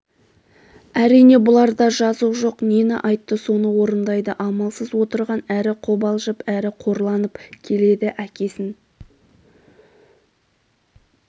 әрине бұларда жазық жоқ нені айтты соны орындайды амалсыз отырған әрі қобалжып әрі қорланып келеді әкесін